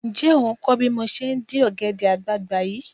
Ǹjẹ́ ò ń bí mo ṣe ń dín ọ̀gẹ̀dẹ̀ àgbààgbà yìí?